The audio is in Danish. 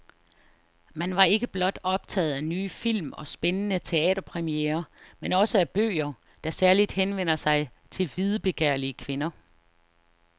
Man var ikke blot optaget af nye film og spændende teaterpremierer, men også af bøger, der særligt henvender sig til videbegærlige kvinder.